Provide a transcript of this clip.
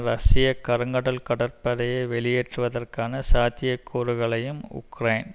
ரஷ்ய கருங்கடல் கடற்படையை வெளியேற்றுவதற்கான சாத்தியக்கூறுகளையும் உக்ரைன்